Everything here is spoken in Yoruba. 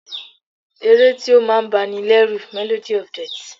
Ẹ̀ré tí o máà ń bá ní lẹ́rù ni "Melody of death"